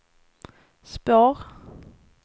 spår